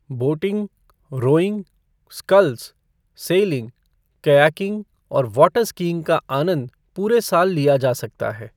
Boating, rowing, sculls, sailing, kayaking और water skiing का आनंद पूरे साल लिया जा सकता है।